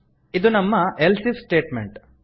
ಇದು ನಮ್ಮ ಎಲ್ಸಿಫ್ ಸ್ಟೇಟ್ಮೆಂಟ್